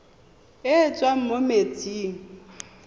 e e tswang mo metsing